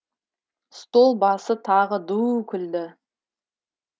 стол басы тағы ду күлді